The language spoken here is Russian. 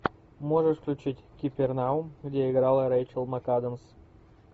можешь включить капернаум где играла рэйчел макадамс